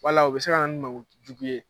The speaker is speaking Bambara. Wala u bɛ se ka na ni mankutu jugu ye.